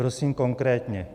Prosím konkrétně.